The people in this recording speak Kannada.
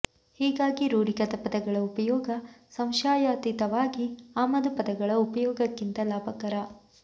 ಹೀಗಾಗಿ ರೂಢಿಗತ ಪದಗಳ ಉಪಯೋಗ ಸಂಶಯಾತೀತವಾಗಿ ಆಮದು ಪದಗಳ ಉಪಯೋಗಕ್ಕಿಂತ ಲಾಭಕರ